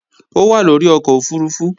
Ó wà lórí ọkọ̀ òfurufú